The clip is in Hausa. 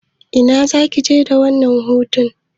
Ina zaka je da wannan hutun?